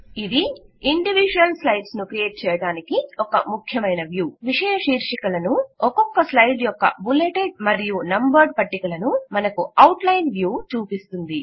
ఇది individual slides ను create చేయటానికి స్లైడ్ ముఖ్యమైన వ్యూ విషయ శీర్షికలను ఒక్కొక్క స్లైడ్ యొక్క బుల్లెటెడ్ మరియు నంబర్డ్ పట్టికలను మనకు అవుట్ లైన్ వ్యూ చూపిస్తుంది